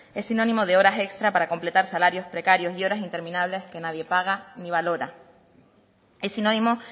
es sinónimo de horas extras para completar salarios precarios y horas interminables que nadie paga ni valora es sinónimo